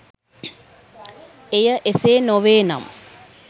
එය එසේ නොවේනම්